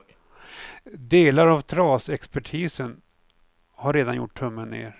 Delar av travexpertisen har redan gjort tummen ner.